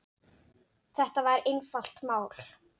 Þetta var einfalt mál.